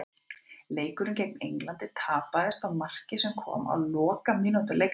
Leikurinn gegn Englandi tapaðist á marki sem kom á lokamínútu leiksins.